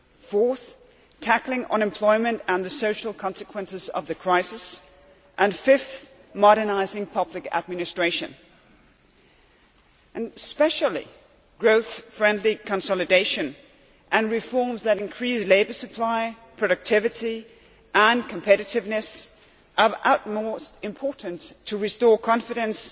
Fourth, tackling unemployment and the social consequences of the crisis and fifth, modernising public administration. In particular, growth friendly consolidation and reforms that increase labour supply, productivity and competitiveness are of the utmost importance to restore confidence.